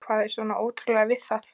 Hvað er svona ótrúlegt við það?